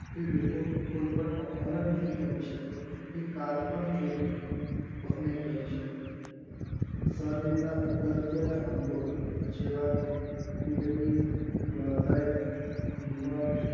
કે લોકો કોઈ પણ અપહરણ નહિ કરી શકે કે કર પણ ચોરી નહિ કરી શકે શરીરના અગત્યના અંગો જેવા કે કિડની હૃદય લીવર